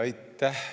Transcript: Aitäh!